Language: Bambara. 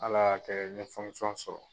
Ala y'a kɛ n ye sɔrɔ.